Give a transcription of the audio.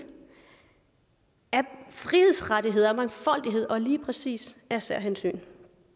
af frihedsrettigheder af mangfoldighed og lige præcis af særhensyn